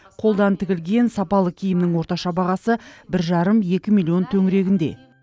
қолдан тігілген сапалы киімнің орташа бағасы бір жарым екі миллион төңірегінде